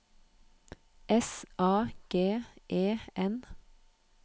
S A G E N